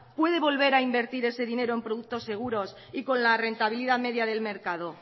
puede volver a invertir ese dinero en productos seguros y con la rentabilidad media del mercado